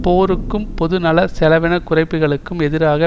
போருக்கும் பொதுநல செலவின குறைப்புக்களுக்கும் எதிரான